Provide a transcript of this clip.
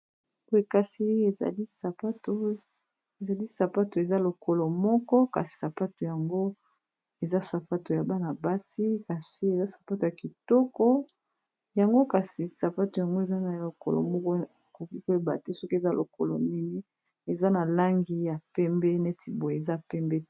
Boye kasi ezali sapato eza lokolo moko kasi sapato yango eza sapato ya bana-basi kasi eza sapato ya kitoko yango kasi sapato yango eza na lokolo moko ekoki koyeba te soki eza lokolo nini eza na langi ya pembe neti boye eza pembe.